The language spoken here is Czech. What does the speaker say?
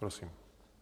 Prosím.